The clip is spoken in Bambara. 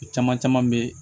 O caman caman bɛ yen